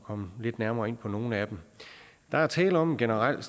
komme lidt nærmere ind på nogle af dem der er tale om en generel